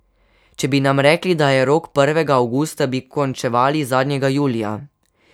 Če bi nam rekli, da je rok prvega avgusta, bi končevali zadnjega julija.